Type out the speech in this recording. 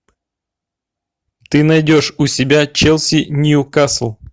ты найдешь у себя челси ньюкасл